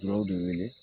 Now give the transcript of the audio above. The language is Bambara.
de wele